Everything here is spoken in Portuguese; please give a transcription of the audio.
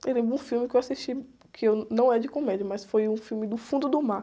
Eu lembro de um filme que eu assisti, que eu, não é de comédia, mas foi um filme do fundo do mar.